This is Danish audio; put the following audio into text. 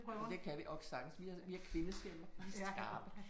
Men det kan vi ok sagtens vi har vi har kvindestemmer. De er skarpe